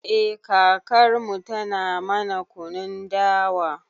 Eh kakarmu tana mana kunun dawa